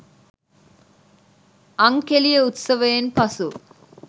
අං කෙළි උත්සවයෙන් පසු